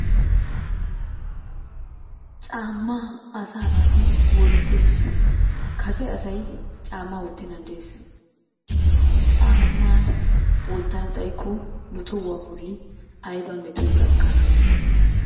Caammaa asaa naati wottes. Kase asay caammaa wottennan des. Caammaa wottana xayikko nu tohuwa bolli ayiba metoy gakkana danddayi?